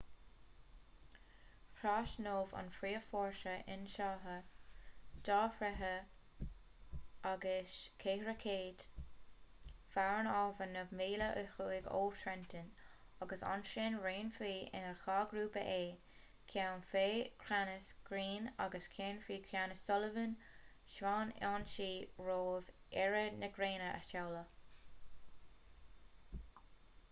thrasnódh an príomhfhórsa ionsaithe 2,400 fear an abhainn naoi míle ó thuaidh ó trenton agus ansin roinnfí ina dhá ghrúpa é ceann faoi cheannas greene agus ceann faoi cheannas sullivan d'fhonn ionsaí roimh éiri na gréine a sheoladh